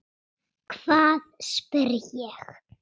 Hvað? spyr ég.